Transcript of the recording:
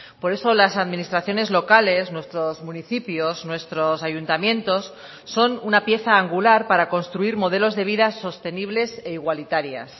por eso las administraciones locales nuestros municipios nuestros ayuntamientos son una pieza angular para construir modelos de vida sostenibles e igualitarias